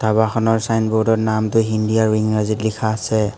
দোকানখনৰ চাইনবোৰ্ডত নামটো হিন্দী আৰু ইংৰাজীত লিখা আছে।